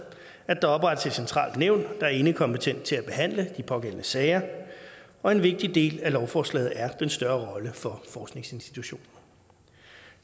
at der oprettes et centralt nævn der er enekompetent til at behandle de pågældende sager og en vigtig del af lovforslaget er den større rolle for forskningsinstitutioner